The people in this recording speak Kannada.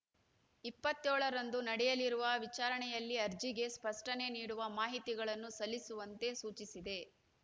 ಇಪ್ಪತ್ಯೋಳರಂದು ನಡೆಯಲಿರುವ ವಿಚಾರಣೆಯಲ್ಲಿ ಅರ್ಜಿಗೆ ಸ್ಪಷ್ಟನೆ ನೀಡುವ ಮಾಹಿತಿಗಳನ್ನು ಸಲ್ಲಿಸುವಂತೆ ಸೂಚಿಸಿದೆ